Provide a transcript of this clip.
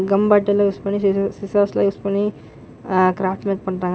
Come பாட்டல்லா use பண்ணி scissors எல்லா யூஸ் பண்ணி ஆ கிராஃப்ட் ஒர்க் பண்றாங்க.